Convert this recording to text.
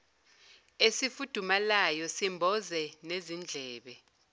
esifudumalayo simboze nezindlebe